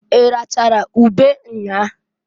I rachara ube nnyaa?